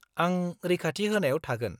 आं रैखाथि होनायाव थागोन।